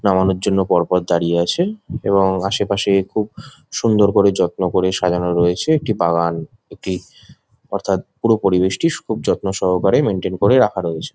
নামানোর জন্য পরপর দাঁড়িয়ে আছে এবং আশেপাশে খুব সুন্দর করে যত্ন করে সাজানো রয়েছে একটি বাগান একটি অর্থাৎ পুরো পরিবেশটি খুব যত্নসহকারে মেইনটেইন করে রাখা রয়েছে।